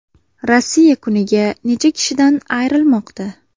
Rossiya kuniga necha kishidan ayrilmoqda?